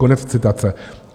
Konec citace.